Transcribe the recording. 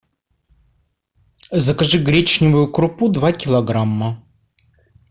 закажи гречневую крупу два килограмма